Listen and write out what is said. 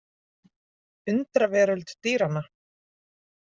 Undraveröld dýranna.